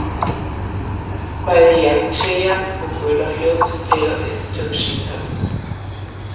Bæði Jangtsekíang og Gulafljót eiga upptök sín þarna.